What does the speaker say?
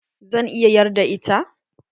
zan iya yarda da ita?